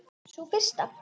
Sú fyrsta?